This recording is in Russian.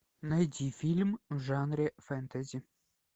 найди фильм в жанре фэнтези